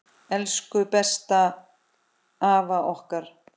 Elsku besta afa okkar.